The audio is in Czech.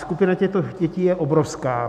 Skupina těchto dětí je obrovská.